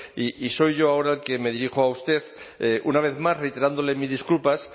y soy yo ahora el que me dirijo a usted una vez más reiterándole mis disculpas